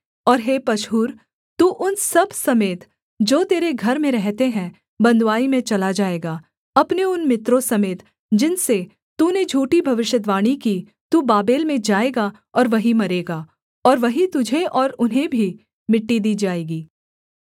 और हे पशहूर तू उन सब समेत जो तेरे घर में रहते हैं बँधुआई में चला जाएगा अपने उन मित्रों समेत जिनसे तूने झूठी भविष्यद्वाणी की तू बाबेल में जाएगा और वहीं मरेगा और वहीं तुझे और उन्हें भी मिट्टी दी जाएगी